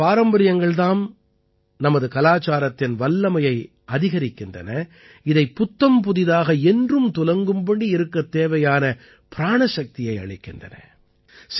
இந்த பாரம்பரியங்கள் தாம் நமது கலாச்சாரத்தின் வல்லமையை அதிகரிக்கின்றன இதைப் புத்தம்புதிதாக என்றும் துலங்கும்படி இருக்கத் தேவையான பிராணசக்தியை அளிக்கின்றன